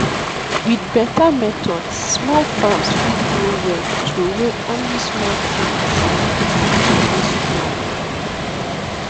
with better methods small farms fit grow well throway ony small things and build future wey strong